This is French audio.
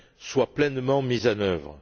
soit pleinement mise en œuvre.